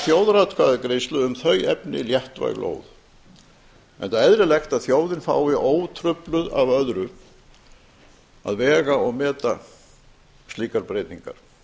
þjóðaratkvæðagreiðslu um þau efni léttvæg lóð enda eðlilegt að þjóðin fái ótrufluð af öðru að vega og meta slíkar breytingar